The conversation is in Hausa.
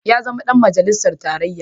Ya zama ɗan majalisar tarayya.